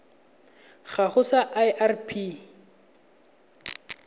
gago sa irp it a